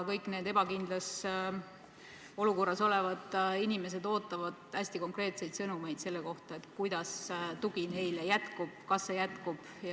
Kõik need ebakindlas olukorras olevad inimesed ootavad hästi konkreetseid sõnumeid selle kohta, kuidas tugi jätkub ja kas see jätkub.